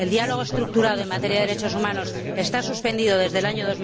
El diálogo estructurado en materia de derechos humanos está suspendido desde el año